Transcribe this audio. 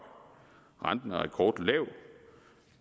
renten er rekordlav